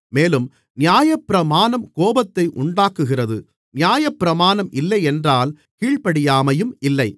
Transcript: மேலும் நியாயப்பிரமாணம் கோபத்தை உண்டாக்குகிறது நியாயப்பிரமாணம் இல்லை என்றால் கீழ்ப்படியாமையும் இல்லை